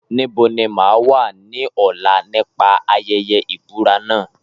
Níbo ni mà á wà ní ọ̀la nípa ayẹyẹ ìbúra náà?